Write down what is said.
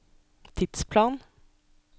tidsplan